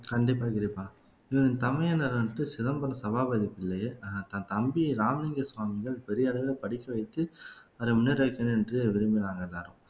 கண்டிப்பா கிருபா தமையன் வந்துட்டு சிதம்பரம் சபாபதி பிள்ளையை தன் தம்பி ராமலிங்க சுவாமிகள் பெரிய அளவிலே படிக்க வைத்து அத முன்னேற வைக்கணும் என்று விரும்பினாங்க எல்லாரும்